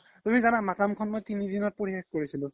তুমি জানা মাকাম খন মই তিনি দিনত পঢ়ি শেস কৰিছিলো